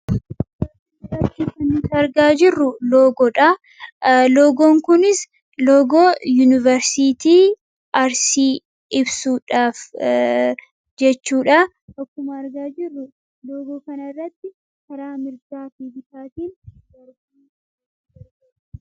arkiant argaa i logoon kunis logoo yuunivarsitii arsii ibsuudhaaf jechuudha akkuma argaa jirru loogoo kanarratti karaa mirraa fi bitaatiin